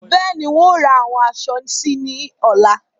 Bẹ́ẹ̀ni, ń ó ra àwọn aṣọ síí ni ọ̀la